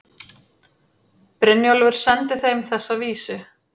Brynjólfur sendi þeim þessa vísu